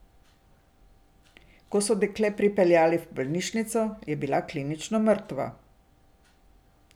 Ko so dekle pripeljali v bolnišnico, je bila klinično mrtva.